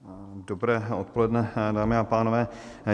Dobré odpoledne, dámy a pánové.